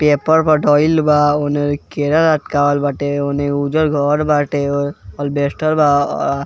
paper बा ओने केरा लटका वल बाटे ओने उज़र घर बाटे अलबेस्टर बा |